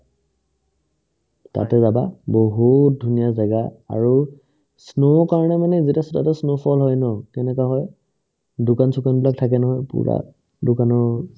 তাতে যাবা বহুত ধুনীয়া জাগা আৰু snow ৰ কাৰণে মানে যেতিয়া তাতে snow fall হয় ন কেনেকা হয় দোকান-চোকানবিলাক থাকে নহয় পূৰা দোকানৰ